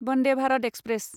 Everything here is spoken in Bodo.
वन्दे भारत एक्सप्रेस